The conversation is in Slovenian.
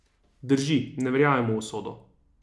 Drži, ne verjamem v usodo.